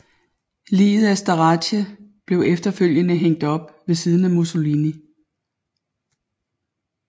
Liget af Starace blev efterfølgende hængt op ved siden af Mussolini